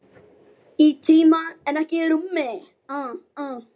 Í tíma en ekki í rúmi.